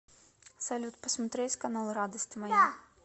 салют посмотреть канал радость моя